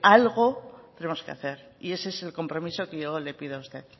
algo tenemos que hacer y ese es el compromiso que yo le pido a usted